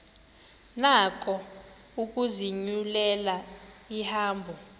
nako ukuzinyulela ihambo